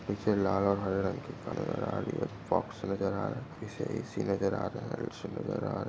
पीछे लाल और हरे रंग के कारपेट नज़र आ रही है फॉक्स नज़र आ रहा है पीछे एसी नज़र आ रहा है लाइट्स नज़र आ रहे है।